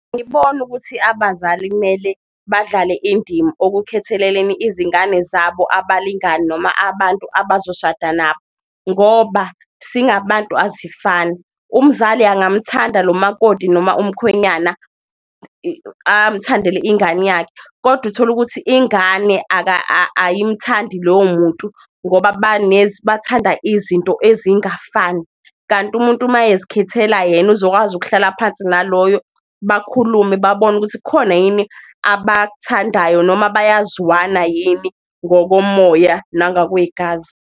Angiboni ukuthi abazali kumele badlale indima okukhetheleleni izingane zabo abalingani noma abantu abazoshada nabo, ngoba singabantu asifani umzali angamuthandi lo makoti noma umkhwenyana, amthandele ingane yakhe kodwa utholukuthi ingane ayimthandi lowo muntu ngoba bathanda izinto ezingafani. Kanti umuntu mayezikhethela yena uzokwazi ukuhlala phansi naloyo, bakhulume babone ukuthi kukhona yini abakuthandayo noma bayazwana yini ngokomoya nangakwegazi.